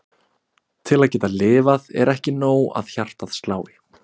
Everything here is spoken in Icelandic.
Til að geta lifað er ekki nóg að hjartað slái.